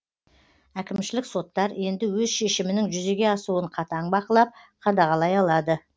әкімшілік соттар енді өз шешімінің жүзеге асуын қатаң бақылап қадағалай алады